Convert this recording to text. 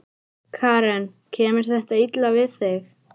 Karen: Kemur þetta illa við þig?